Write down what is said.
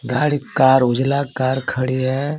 गाड़ी कार उजला कार खड़ी है.